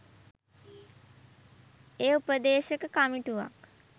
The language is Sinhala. එය උපදේශක කමිටුවක්